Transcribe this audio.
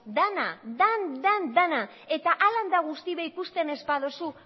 dana dan dana eta hala eta guztiz ere ikusten ez baduzu